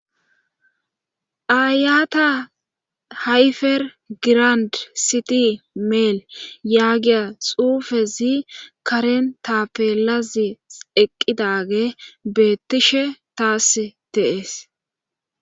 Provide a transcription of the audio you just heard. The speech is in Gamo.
ayata hayfer girand siti meel yaagiya xuufezi karen tapelazi eqqidage beettishe taas teees